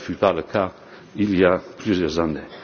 Tel n'était pas le cas il y a plusieurs